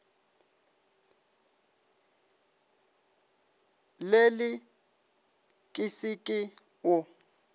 lele ke se ke o